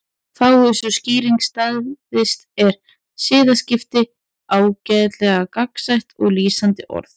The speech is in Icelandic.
Fái sú skýring staðist er siðaskipti ágætlega gagnsætt og lýsandi orð.